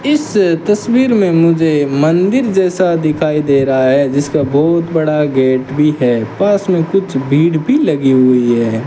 इस तस्वीर में मुझे मंदिर जैसा दिखाई दे रहा है जिसका बहुत बड़ा गेट भी है पास में कुछ भीड़ भी लगी हुई है।